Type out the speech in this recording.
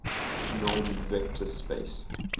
normed vector space